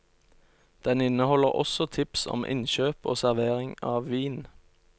Den inneholder også tips om innkjøp og servering av vin.